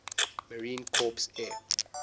marine corps air